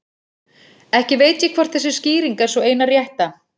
Ekki veit ég hvort þessi skýring er sú eina rétta.